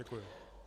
Děkuji.